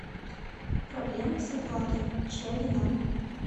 проблемы с оплатой чья вина